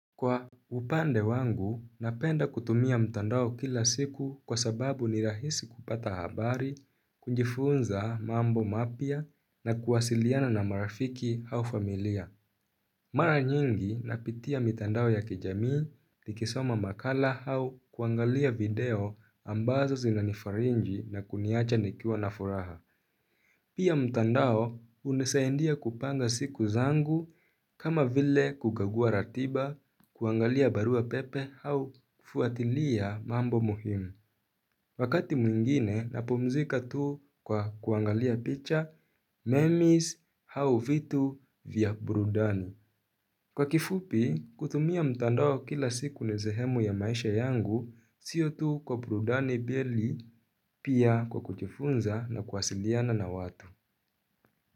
Kwa upande wangu, napenda kutumia mtandao kila siku kwa sababu ni rahisi kupata habari, kujifunza mambo mapya na kuwasiliana na marafiki au familia. Mara nyingi napitia mitandao ya kijamii, nikisoma makala au kuangalia video ambazo zinanifaringi na kuniacha nikiwa na furaha. Pia mtandao unisaindia kupanga siku zangu kama vile kukagua ratiba kuangalia barua pepe au kufuatilia mambo muhimu. Wakati mwingine napomzika tu kwa kuangalia picha, memis au vitu vya burudani. Kwa kifupi kutumia mtandao kila siku nizehemu ya maisha yangu sio tu kwa burudani beli pia kwa kujifunza na kuwasiliana na watu.